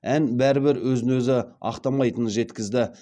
ән бәрібір өз өзін ақтамайтынын жеткізді